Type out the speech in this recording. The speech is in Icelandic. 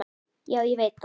Já, ég veit það